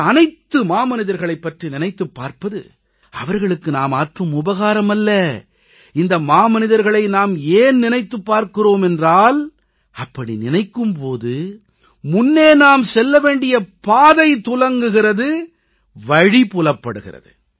இந்த அனைத்து மாமனிதர்களைப் பற்றி நினைத்துப் பார்ப்பது அவர்களுக்கு நாம் ஆற்றும் உபகாரம் அல்ல இந்த மாமனிதர்களை நாம் ஏன் நினைத்துப் பார்க்கிறோம் என்றால் அப்படி நினைக்கும் போது முன்னே நாம் செல்ல வேண்டிய பாதை துலங்குகிறது வழி புலப்படுகிறது